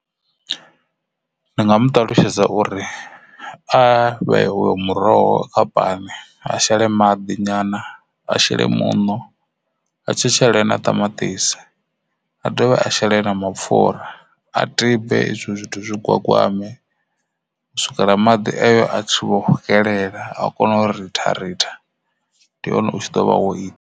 Ndi nga mu ṱalutshedza uri a vhe uyo muroho kha pani a shele maḓi nyana a shela muṋo a tshi shele na ṱamatisi a dovhe a shela na mapfhura izwo zwithu zwi gwagwama u swikela maḓi ayo a tshi vho swikelela a kona uri ritha ritha ndi hone u tshi ḓo vha wo ita.